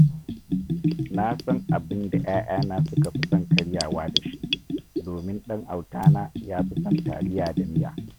Na san abin da ‘ya’yana suka fi son karyawa da shi, domin ɗan autana ya fi son taliya da miya